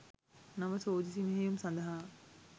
නව සෝදිසි මෙහෙයුම් සඳහා